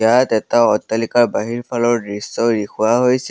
ইয়াত এটা অট্টালিকা বাহিৰ ফালৰ দৃশ্য দেখুওৱা হৈছে।